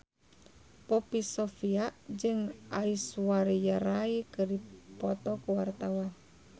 Poppy Sovia jeung Aishwarya Rai keur dipoto ku wartawan